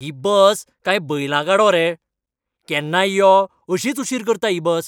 ही bus काय बैलां गाडो रे? केन्नाय यो, अशीच उशीर करता ही बस.